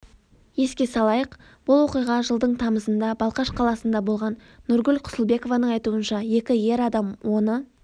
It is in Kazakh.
еске салайық бұл оқиға жылдың тамызында балқаш қаласында болған нұргүл құсылбекованың айтуынша екі ер адам оны